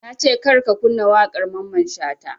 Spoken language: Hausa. Nace kar ka kunna waƙar mamman shata